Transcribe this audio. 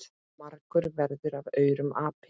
margur verður af aurum api.